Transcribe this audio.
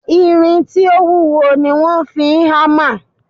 Irin tí ó wúwo ni wọ́n fi hámà